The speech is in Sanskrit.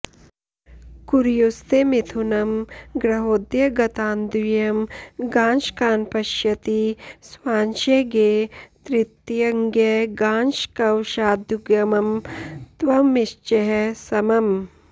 कुर्युस्ते मिथुनं गृहोदयगतान्द्व्यंगांशकान्पश्यति स्वांशे ज्ञे त्रितयं ज्ञगांशकवशाद्युग्मं त्वमिश्चैः समम्